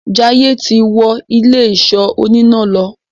Jaiye tí wọ Ilé-ìṣọ́ oníná ló.